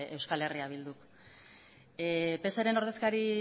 eh bilduk pseren ordezkari